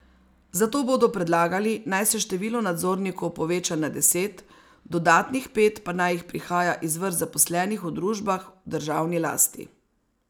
Zato bodo predlagali, naj se število nadzornikov poveča na deset, dodatnih pet pa naj jih prihaja iz vrst zaposlenih v družbah v državni lasti.